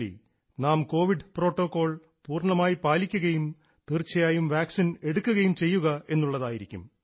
നാം covid protocol പൂർണ്ണമായും പാലിക്കുകയും തീർച്ചയായും വാക്സിൻ എടുക്കുകയും ചെയ്യുക എന്നുള്ളതിയിരിക്കും